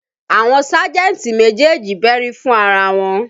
Àwọn sájẹ̀ntì méjèèjì bẹ́rí fún ara wọn